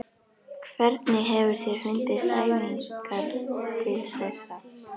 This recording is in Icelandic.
Evrópu stóðu fyrir fjöldafundum um Grikkland.